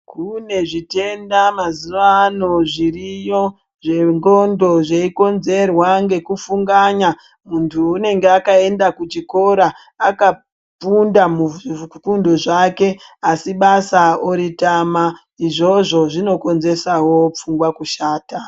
Kune zvitenda mazuano zviriyo zvenxondo zveikonzerwa ngekufunganya munthu unenga wakaenda kuchikora akafunda muzvifundo zvake asi basa oritama izvozvo zvinokonzeresawo pfungwa kushata.